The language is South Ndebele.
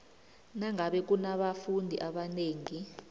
nangabe kunabafundi abanengi